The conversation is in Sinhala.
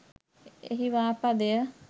එහි වා පදය